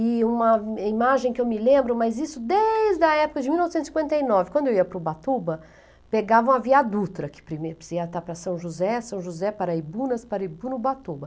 E uma imagem que eu me lembro, mas isso desde a época de mil novecentos e cinquenta e nove, quando eu ia para o Ubatuba, pegavam a Via Dutra, que primeiro precisava estar para São José, São José, Paraibunas, Paraibuno, Ubatuba.